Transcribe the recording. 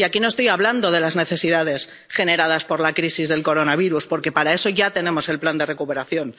Y aquí no estoy hablando de las necesidades generadas por la crisis del coronavirus, porque para eso ya tenemos el plan de recuperación.